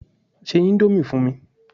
Ṣé ìndòmí fún mi!